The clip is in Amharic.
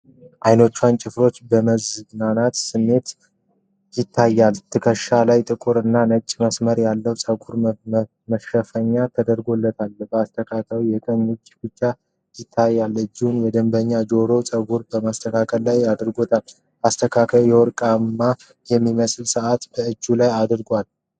አይኖቹን ጨፍኖ በመዝናናት ስሜት ይታያል። ትከሻው ላይ ጥቁር እና ነጭ መስመር ያለው የፀጉር መሸፈኛ ተደርጎለታል። በአስተካካዩ የቀኝ እጅ ብቻ ይታያል፤ እጁን የደንበኛውን ጆሮና ፀጉር በማስተካከል ላይ አድርጓል። አስተካካዩ ወርቃማ የሚመስል ሰዓት በእጁ ላይ አድርጓል።